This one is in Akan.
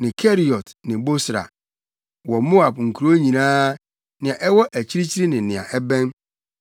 ne Keriot ne Bosra wɔ Moab nkurow nyinaa, nea ɛwɔ akyirikyiri ne nea ɛbɛn.